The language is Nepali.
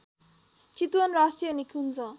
चितवन राष्ट्रिय निकुन्ज